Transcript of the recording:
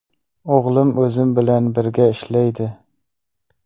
O‘g‘lim o‘zim bilan birga ishlaydi.